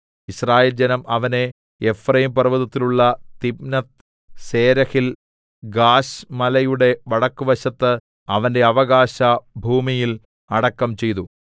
യിസ്രായേൽജനം അവനെ എഫ്രയീം പർവ്വതത്തിലുള്ള തിമ്നത്ത്സേരഹിൽ ഗാശ് മലയുടെ വടക്കുവശത്ത് അവന്റെ അവകാശഭൂമിയിൽ അടക്കം ചെയ്തു